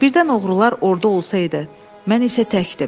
Birdən oğrular orada olsaydı, mən isə təkdim.